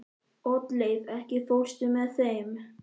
Oddleif, ekki fórstu með þeim?